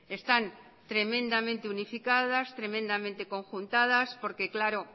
están tremendamente unificadas tremendamente conjuntadas porque claro